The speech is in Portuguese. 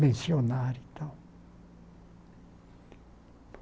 mencionar e tal.